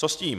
Co s tím?